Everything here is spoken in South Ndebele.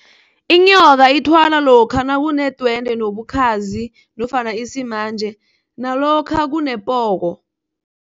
Inyoka ithwalwa lokha nakunedwendwe nobukhazi nofana isimanje, nalokha kunepoko.